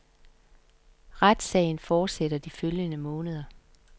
Retssagen fortsætter de følgende måneder.